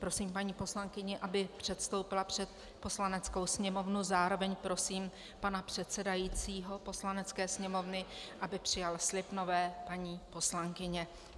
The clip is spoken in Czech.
Prosím paní poslankyni, aby předstoupila před Poslaneckou sněmovnu, zároveň prosím pana předsedajícího Poslanecké sněmovny, aby přijal slib nové paní poslankyně.